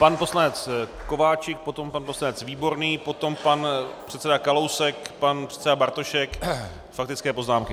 Pan poslanec Kováčik, potom pan poslanec Výborný, potom pan předseda Kalousek, pan předseda Bartošek, faktické poznámky.